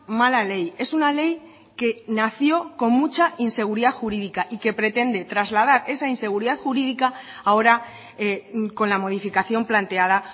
mala ley es una ley que nació con mucha inseguridad jurídica y que pretende trasladar esa inseguridad jurídica ahora con la modificación planteada